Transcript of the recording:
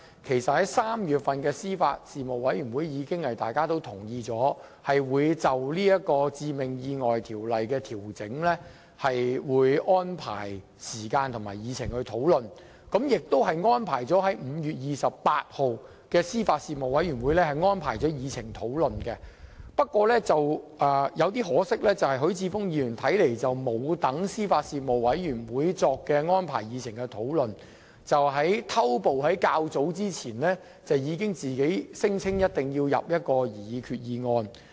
其實，在3月的司法及法律事務委員會上，委員已同意就討論修訂《致命意外條例》事宜作出相關的安排，並已訂於5月28日的司法及法律事務委員會會議議程上進行討論，但可惜許智峯議員並沒有耐心等候司法及法律事務委員會作出安排，反而搶先在較早前聲稱其本人定必會提出一項擬議決議案。